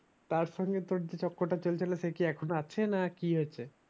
তার সঙ্গে তোর যে চক্করটা চলছিলো সেকি এখনো আছে না কি হয়েছে